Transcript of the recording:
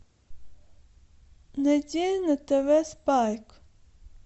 найди на тв спайк